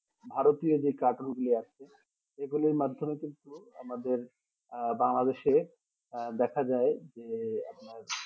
ভারতীয় যে কাটুন গুলি আসছে সেগুলির, মাধ্যমে কিন্তু আমাদের এ আহ বাংলাদেশে দেখা যাই যে আপনার